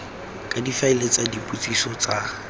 ka difaele tsa dipotsiso tsa